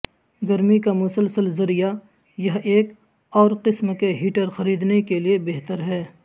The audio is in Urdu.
گرمی کا مسلسل ذریعہ یہ ایک اور قسم کے ہیٹر خریدنے کے لئے بہتر ہے